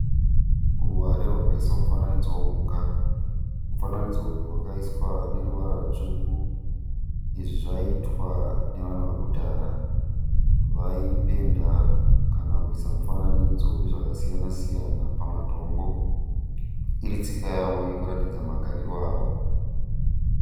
Ruware rwakaiswa mufananidzo wemhuka. Mufanidzo uyu wakaiswa neruvara rwutsvuku. Izvi zvaiitwa nevanhu vakudhara vaipenda kana kuisa mufananidzo wezvakasiyana siyana pamatombo iri tsika yavo yekuratidza magariro avo.